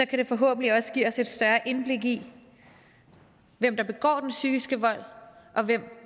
kan det forhåbentlig også give os et større indblik i hvem der begår den psykiske vold og hvem